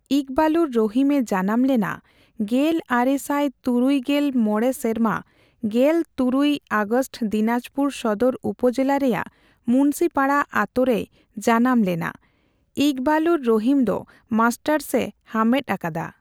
ᱤᱠᱵᱟᱞᱩᱨ ᱨᱚᱦᱤᱢ ᱮ ᱡᱟᱱᱟᱢ ᱞᱮᱱᱟ ᱜᱮᱞ ᱟᱨᱮ ᱥᱟᱭ ᱛᱩᱨᱩᱭ ᱜᱮᱞ ᱢᱚᱲᱮ ᱥᱮᱨᱢᱟ ᱜᱮᱞᱛᱩᱨᱩᱭ ᱟᱜᱥᱴ ᱫᱤᱱᱟᱸᱡᱽᱯᱩᱨ ᱥᱚᱫᱚᱨ ᱩᱯᱚᱡᱮᱞᱟ ᱨᱮᱭᱟᱜ ᱢᱩᱱᱥᱤᱯᱟᱰᱟ ᱟᱛᱚ ᱨᱮᱭ ᱡᱟᱱᱟᱢ ᱞᱮᱱᱟ᱾ᱤᱠᱵᱟᱞᱩᱨ ᱨᱚᱦᱤᱢ ᱫᱚ ᱢᱟᱥᱴᱟᱨᱥ ᱮ ᱦᱟᱢᱵᱮᱴ ᱟᱠᱟᱫᱟ᱾